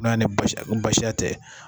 N'a ni basi basiya tɛ